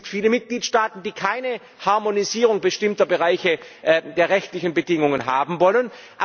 Es gibt viele Mitgliedstaaten, die keine Harmonisierung bestimmter Bereiche der rechtlichen Bedingungen haben wollen.